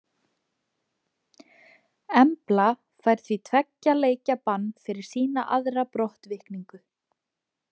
Embla fær því tveggja leikja bann fyrir sína aðra brottvikningu.